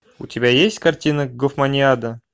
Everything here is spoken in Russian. у тебя есть картина гофманиада